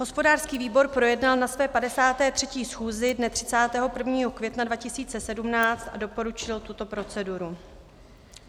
Hospodářský výbor projednal na své 53. schůzi dne 31. května 2017 a doporučil tuto proceduru.